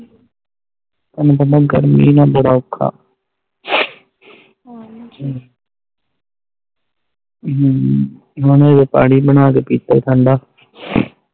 ਤੈਨੂੰ ਪਤਾ ਗਰਮੀ ਚ ਮੇਰਾ ਬੜਾ ਔਖਾ ਆ ਹਮ ਹੁਣ ਆਏ ਪਾਣੀ ਬਣਾ ਕ ਪਿਤਾ ਠੰਡਾ